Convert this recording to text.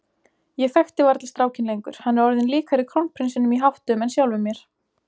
Ég þekki varla strákinn lengur, hann er orðinn líkari krónprinsinum í háttum en sjálfum mér.